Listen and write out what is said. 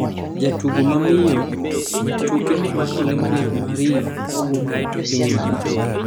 Jatugo ma miyo tuke mag Olimpik mag Rio mawuok e piny Malawi